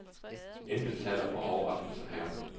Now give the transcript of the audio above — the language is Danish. Intet taler for en overraskelse her.